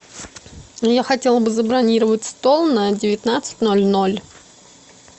я хотела бы забронировать стол на девятнадцать ноль ноль